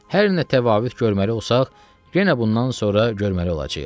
Hər nə təfavüd görməli olsaq, yenə bundan sonra görməli olacağıq.